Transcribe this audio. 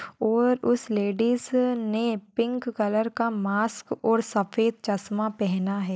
और उस लेडिज ने पिंक कलर का मास्क और सफ़ेद चस्मा पेहना है।